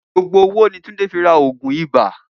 Gbogbo owó ni Túndé fi ra ògùn ibà